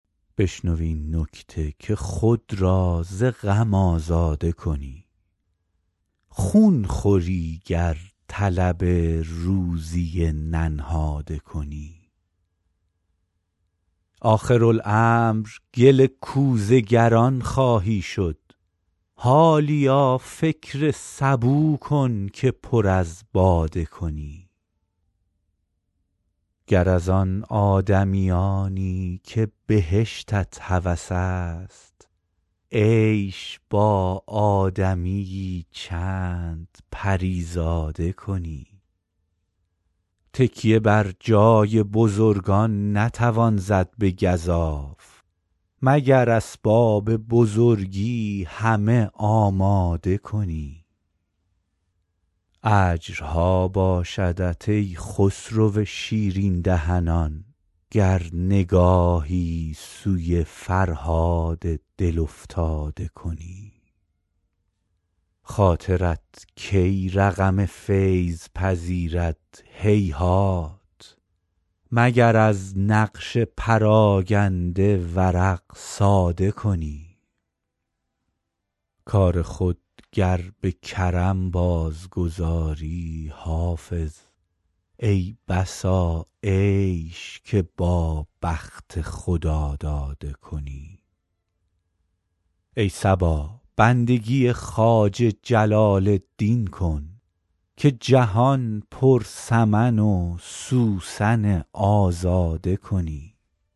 بشنو این نکته که خود را ز غم آزاده کنی خون خوری گر طلب روزی ننهاده کنی آخرالامر گل کوزه گران خواهی شد حالیا فکر سبو کن که پر از باده کنی گر از آن آدمیانی که بهشتت هوس است عیش با آدمی یی چند پری زاده کنی تکیه بر جای بزرگان نتوان زد به گزاف مگر اسباب بزرگی همه آماده کنی اجرها باشدت ای خسرو شیرین دهنان گر نگاهی سوی فرهاد دل افتاده کنی خاطرت کی رقم فیض پذیرد هیهات مگر از نقش پراگنده ورق ساده کنی کار خود گر به کرم بازگذاری حافظ ای بسا عیش که با بخت خداداده کنی ای صبا بندگی خواجه جلال الدین کن که جهان پر سمن و سوسن آزاده کنی